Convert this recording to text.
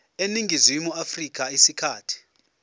eningizimu afrika isikhathi